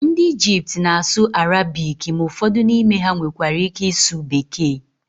ndị Ijipt na-asụ Arabiki ma ụfọdụ n'ime ha nwekwara ike ịsụ bekee